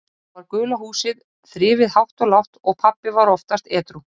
Þá var gula húsið þrifið hátt og lágt og pabbi var oftast edrú.